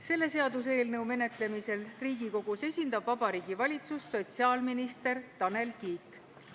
Selle seaduseelnõu menetlemisel Riigikogus esindab Vabariigi Valitsust sotsiaalminister Tanel Kiik.